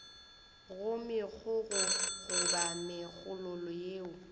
go megokgo goba megololo yeo